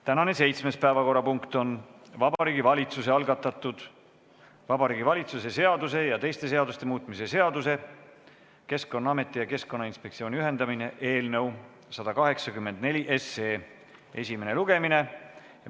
Tänane 7. päevakorrapunkt on Vabariigi Valitsuse algatatud Vabariigi Valitsuse seaduse ja teiste seaduste muutmise seaduse eelnõu 184 esimene lugemine.